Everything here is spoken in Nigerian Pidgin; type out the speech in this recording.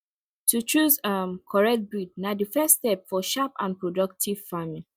to choose um correct breed na the first step for sharp and productive farming